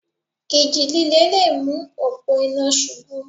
Ìjì líle le mú òpó iná ṣubú.